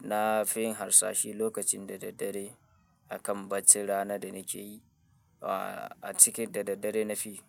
na fi harsashi lokacin da daddare akan baccin rana da nake yi, ah, a cikin da daddare na fi.